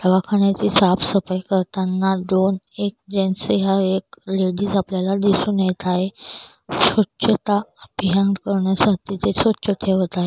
दवाखान्याची साफ सफाई करतांना दोन-एक जेन्स हाय एक लेडीज आपल्याला दिसून येत हाय स्वच्छता अभियान करण्यासाठी ते स्वच्छ ठेवत आहे.